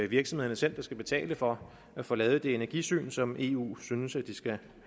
virksomhederne selv der skal betale for at få lavet det energisyn som eu synes at de skal have